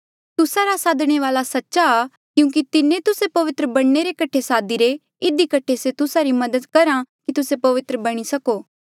तुस्सा रा सादणे वाल्आ सच्चा आ क्यूंकि तिन्हें तुस्से पवित्र बणने रे कठे सादीरे इधी कठे से तुस्सा री मदद करहा कि तुस्से पवित्र बणी सको